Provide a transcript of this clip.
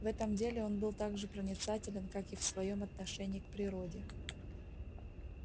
в этом деле он был так же проницателен как и в своём отношении к природе